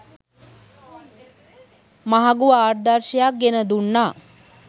මහඟු ආදර්ශයක් ගෙනදුන්නා.